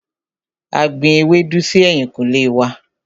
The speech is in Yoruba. A gbin ewédú si ẹ̀yìnkùlé wá.